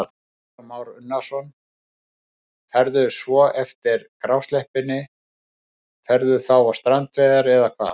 Kristján Már Unnarsson: Ferðu svo eftir grásleppuna, ferðu þá á strandveiðarnar eða hvað?